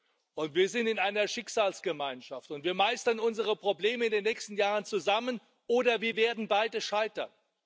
Und wir sind in einer Schicksalsgemeinschaft, und wir meistern unsere Probleme in den nächsten Jahren zusammen oder wir werden beide scheitern.